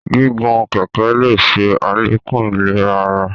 Gígùn kẹkẹ le ṣe alekun ìlera àrà